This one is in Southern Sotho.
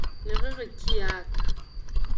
ne re re kiai ka